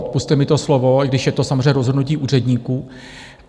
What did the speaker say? Odpusťte mi to slovo, i když je to samozřejmě rozhodnutí úředníků.